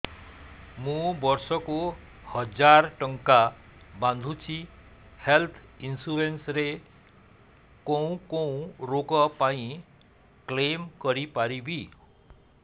ମୁଁ ବର୍ଷ କୁ ହଜାର ଟଙ୍କା ବାନ୍ଧୁଛି ହେଲ୍ଥ ଇନ୍ସୁରାନ୍ସ ରେ କୋଉ କୋଉ ରୋଗ ପାଇଁ କ୍ଳେମ କରିପାରିବି